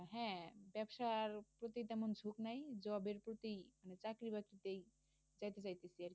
হ্যাঁ ব্যবসার তেমন ঝোঁক নাই job এর প্রতি চাকরি বাকরি যেই